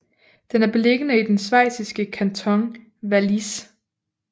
Den er beliggende i den schweiziske kanton Wallis